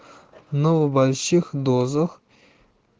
но в больших дозах